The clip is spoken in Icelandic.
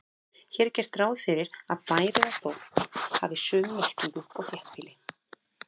Hér er gert ráð fyrir að bær eða þorp hafi sömu merkingu og þéttbýli.